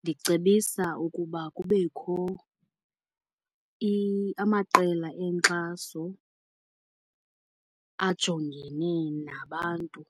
Ndicebisa ukuba kubekho amaqela enkxaso ajongene nabantu